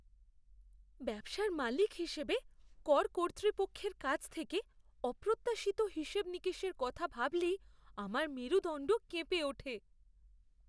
ব্যবসার মালিক হিসেবে, কর কর্তৃপক্ষের কাছ থেকে অপ্রত্যাশিত হিসেবনিকেশের কথা ভাবলেই আমার মেরুদণ্ড কেঁপে ওঠে।